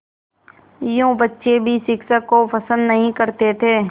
यूँ बच्चे भी शिक्षक को पसंद नहीं करते थे